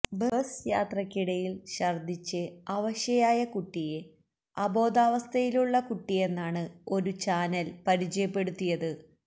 bus യാത്രക്കിടയില് ഛര്ദിച്ച് അവശയായ കുട്ടിയെ അബോധാവസ്ഥയിലുള്ള കുട്ടിയെന്നാണ് ഒരു ചാനല് പരിചയപ്പെടുത്തിയത്